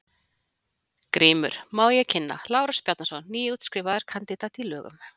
GRÍMUR: Má ég kynna: Lárus Bjarnason, nýútskrifaður kandidat í lögum.